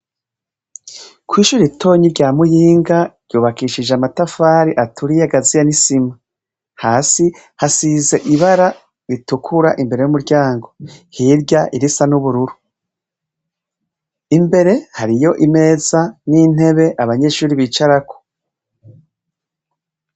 Kw'ishure ritoyi rya Muyinga, ryubakishije amatafari aturiye agaziye n'isima. Hasi hasize ibara ritukura imbere y'umuryango, hirya irisa n'ubururu. Imbere hariyo imeza n'intebe abanyeshure bicarako.